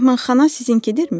Mehmanxana sizinkidirmi?